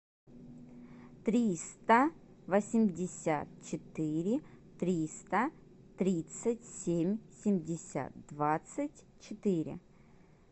триста восемьдесят четыре триста тридцать семь семьдесят двадцать четыре